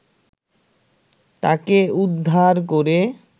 তাকে উদ্ধার করে